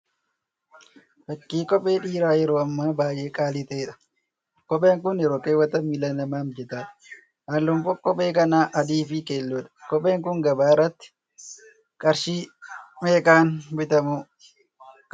Fakkii kophee dhiiraa yeroo hammaa baay'ee qaalii ta'eedha. kopheen kun yeroo kaawwatan miilla namaaf mijataadha. Halluun kophee kanaa adii fi keelloodha. Kopheen kun gabaa irratti qarshii meeqaan bitamuu kan danda'uudha?